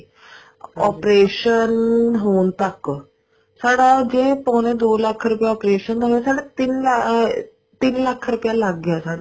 operation ਹੋਣ ਤੱਕ ਸਾਡਾ ਜੇ ਪੋਣੇ ਦੋ ਲੱਖ ਰੁਪਇਆ operation ਦਾ ਹੋਗਿਆ ਮਲਬ ਤਿੰਨ ਆ ਤਿੰਨ ਲੱਖ ਰੁਪਇਆ ਲੱਗ ਗਿਆ ਸਾਡਾ